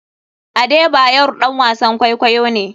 Adebayor ɗan wasn kwaikwayo ne.